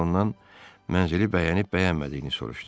Sonra ondan mənzili bəyənib-bəyənmədiyini soruşdu.